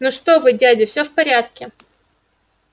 ну что вы дядя всё в порядке